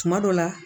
Tuma dɔ la